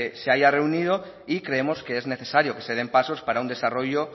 se haya reunido y creemos que es necesario que se den pasos para un desarrollo